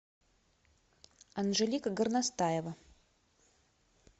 анжелика горностаева